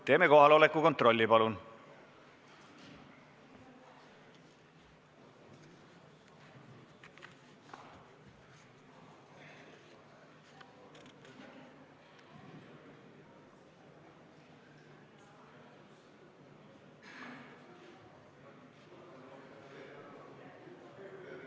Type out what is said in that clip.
Teeme kohaloleku kontrolli, palun!